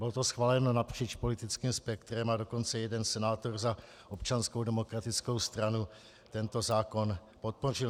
Bylo to schváleno napříč politickým spektrem, a dokonce jeden senátor za Občanskou demokratickou stranu tento zákon podpořil.